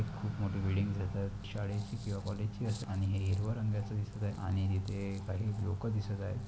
खूप मोठी बिल्डिंग दिसत आहे शाळेची किवा कॉलेज ची असेल आणि हे हिरव्या रंगाच दिसतय आणि तिथे काही लोक दिसत आहेत.